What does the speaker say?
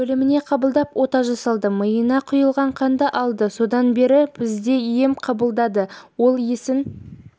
бөліміне қабылдап ота жасалды миына құйылған қанды алды содан бері бізде ем қабылдады ол есін